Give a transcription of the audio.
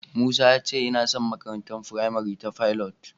Musa ya ce yana son makarantar firamare ta Pilot.